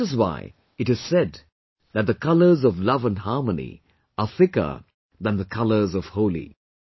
That is why it is said that the colours of love and harmony are thicker than the colours of Holi